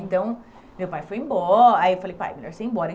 Então, meu pai foi embo, aí eu falei, pai, é melhor você ir embora.